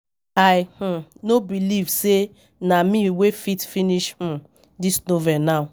I um no believe say na me wey fit finish um dis novel now